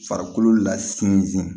Farikolo lasun